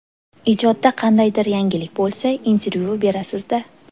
Ijodda qandaydir yangilik bo‘lsa, intervyu berasiz-da.